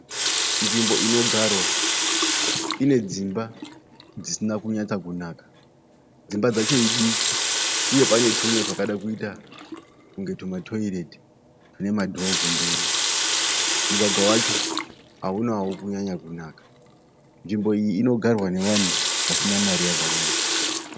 Nzvimbo inogarwa ine dzimba dzisina kunyatsa kunaka dzimba dzacho idiki uye pane tumwe twakada kuita kunge tumatoireti tune ma dho kumberi mugwagwa wacho haunawo kunyanya kunaka nzvimbo iyi inogarwa nevanhu vasina mari yakawanda.